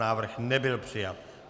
Návrh nebyl přijat.